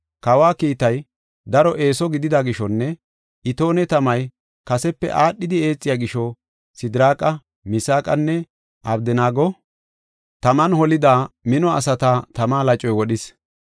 Kawa kiitay daro eeso gidida gishonne itoone tamay kasepe aadhidi eexiya gisho, Sidiraaqa, Misaaqanne, Abdanaago taman holida, mino asata tama lacoy wodhis.